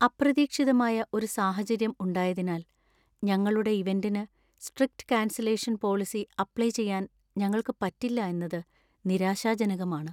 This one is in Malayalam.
അപ്രതീക്ഷിതമായ ഒരു സാഹചര്യം ഉണ്ടായതിനാൽ , ഞങ്ങളുടെ ഇവന്‍റിന് സ്ട്രിക്ട് കാൻസലേഷൻ പോളിസി അപ്ലൈ ചെയ്യാൻ ഞങ്ങൾക്ക് പറ്റില്ല എന്നത് നിരാശാജനകമാണ്.